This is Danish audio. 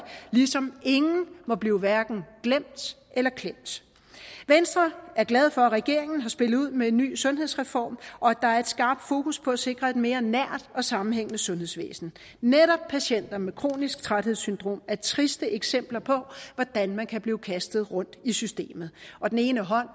ligesom ingen må blive hverken glemt eller klemt venstre er glade for at regeringen har spillet ud med en ny sundhedsreform og at der er et skarpt fokus på at sikre et mere nært og sammenhængende sundhedsvæsen netop patienter med kronisk træthedssyndrom er triste eksempler på hvordan man kan blive kastet rundt i systemet og den ene hånd